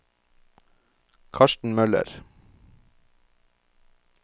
Karsten Møller